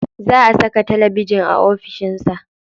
Za a saka talabijin a ofishin sa.